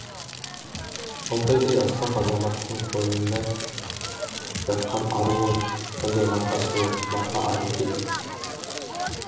алтайдай асқақ азаматтың қойнында жатқан ару ғой содан марқа сұлу марқа ару дейді